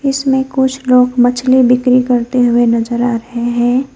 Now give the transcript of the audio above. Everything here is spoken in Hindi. इसमें कुछ लोग मछली बिक्री करते हुए नजर आ रहे हैं।